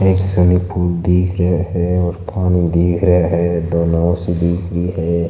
एक swimming pool दिखरो है और पानी दिखरो है दो नाव सी दिखरी है।